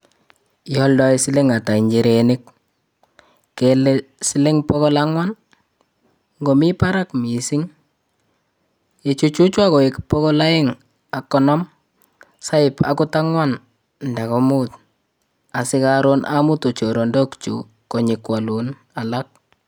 Ioldoi siling atak inchirenik kele siling bokol angwan nii, ikot mii barak missing ichuchuchwan koik bokol oeng ak konom sioip okot angwan nda komuut sikorun omutun choronok kyuu konyo kwolun alak.